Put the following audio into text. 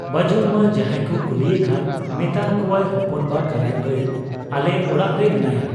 ᱵᱟᱹᱡᱩᱱᱢᱟ ᱡᱟᱦᱟᱸᱭᱠᱚ ᱠᱩᱞᱤ ᱮᱠᱷᱟᱱ ᱢᱮᱛᱟ ᱟᱠᱚᱣᱟᱭ ᱦᱚᱯᱚᱱᱵᱟ ᱠᱟᱱᱟᱭ ᱵᱷᱟᱹᱭ, ᱟᱞᱮ ᱚᱲᱟᱜ ᱨᱮ ᱢᱮᱱᱟᱭᱟ ᱾